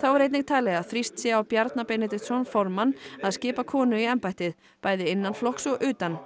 þá er einnig talið að þrýst sé á Bjarna Benediktsson formann að skipa konu í embættið bæði innan flokks og utan